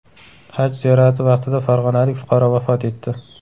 Haj ziyorati vaqtida farg‘onalik fuqaro vafot etdi.